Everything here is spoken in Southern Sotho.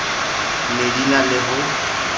ne di na le ho